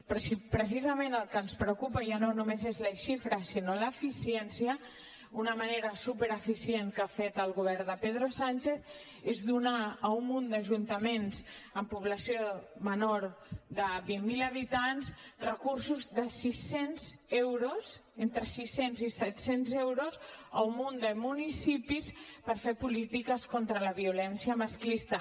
però si precisament el que ens preocupa ja no només és la xifra sinó l’eficiència una manera supereficient que ha fet el govern de pedro sánchez que és donar a un munt d’ajuntaments amb població menor de vint mil habitants recursos de sis cents euros entre sis cents i set cents euros a un munt de municipis per fer polítiques contra la violència masclista